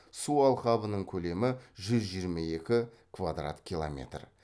су алқабының көлемі жүз жиырма екі квадрат километр